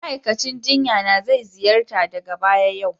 Ma'aikacin jinya na zai ziyarta daga baya yau